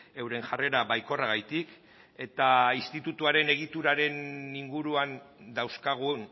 euren jarrera baikorragatik eta institutuaren egituraren inguruan dauzkagun